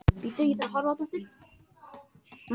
Sektuð fyrir að reka ljósmyndastofur